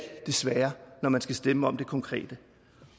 det svære når man skal stemme om det konkrete